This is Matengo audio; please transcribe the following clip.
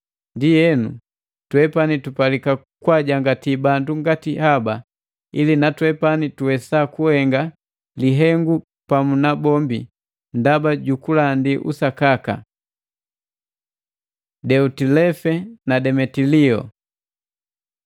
Ndienu, twepani tupalika kwaajangati bandu ngati haba, ili na twepani tuwesa kuhenga lihengu pamu nabombi ndaba ju kulandi usakaka. Deotilefe na Demetilio